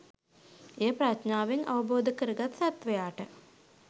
එය ප්‍රඥාවෙන් අවබෝධකරගත් සත්වයාට